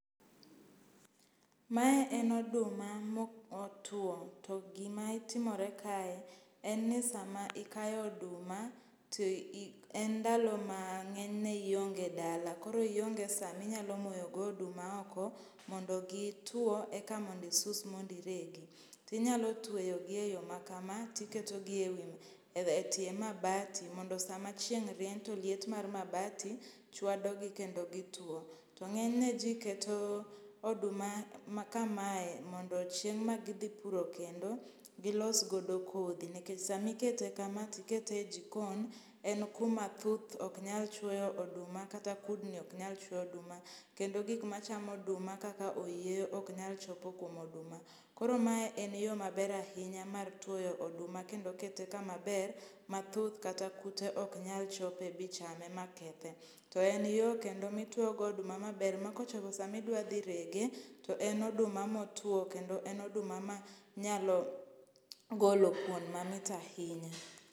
Mae en oduma ma otuo to gima timore kae en ni sama ikayo oduma to en ndalo mang'enyne ionge dala koro ionge sama inyalo moyo godo oduma oko mondo gi tuo eka mondo isus mondo iregi. Inyalo tweyogi eyo makama tiketogi ewi etie mabati mondo sama chieng' rieny to liet mar mabati chwado gi kendo gituo. To ng'eny ne ji keto oduma makamae mondo chieng' ma gidhi puro kendo, gilos godo kodhi nikech kamikete kama tiketo e jikon en kuma thuth ok nyal chuoyo duma kata kudni ok nyal chuoyo oduma. Kendo gik machamo oduma kaka oyieyo ok nyal chopo kuom oduma. Koro mae en yo maber ahinya mar tuoyo oduma kendo kete kama ber ma thuth kata kute ok nyal chope bi chame ma kethe. To en yo kendo mitiyo godo oduma maber makochopo sama idwa dhirege, to en oduma motwo kendo en oduma ma nyalo golo kuon mamit ahinya.